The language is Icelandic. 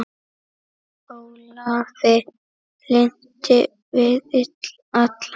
Ólafi lynti við alla